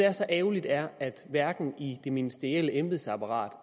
er så ærgerligt er at der hverken i det ministerielle embedsapparat